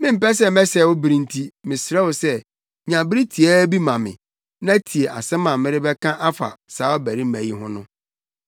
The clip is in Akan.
Mempɛ sɛ mesɛe wo bere enti mesrɛ wo sɛ nya bere tiaa bi ma me na tie asɛm a merebɛka afa saa ɔbarima yi ho no.